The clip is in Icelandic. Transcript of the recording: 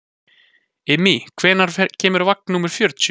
Immý, hvenær kemur vagn númer fjörutíu?